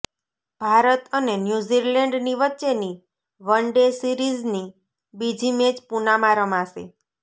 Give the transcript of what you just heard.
ભારત અને ન્યૂઝીલેન્ડની વચ્ચેની વનડે સીરિઝની બીજી મેચ પૂનામાં રમાશે